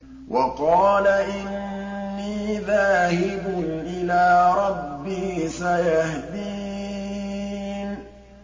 وَقَالَ إِنِّي ذَاهِبٌ إِلَىٰ رَبِّي سَيَهْدِينِ